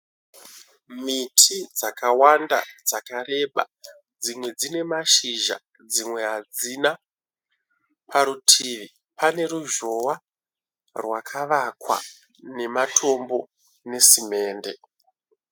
Miti dzakawanda dzakareba. Dzimwe dzine mashizha dzimwe hadzina. Parutivi pane ruzhowa rwakavakwa nematombo nesemende.